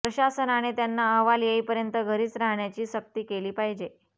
प्रशासनाने त्यांना अहवाल येईपर्यंत घरीच राहण्याची सक्ती केली पाहिजे